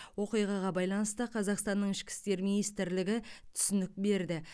оқиғаға байланысты қазақстанның ішкі істер министрлігі түсінік берді